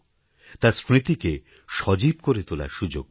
তাঁর স্মৃতিকে সজীব করে তোলার সুযোগ পাব